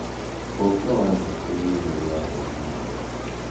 Ũũkĩ wa njũkĩ nĩ ũrĩagwo nĩ andũ.